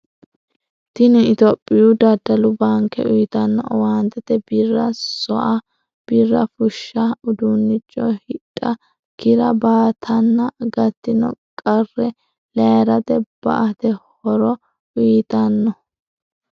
Tini ittoyoopiyu daddallu baanke uyitano owaanteti birra so'a, birra fushsha, uduunicho hidha, Kira baattanna gatino qarre layiirate ba'ete horro uyiitano.